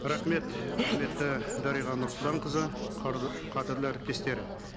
рахмет құрметті дариға нұрсұлтанқызы қадірлі әріптестер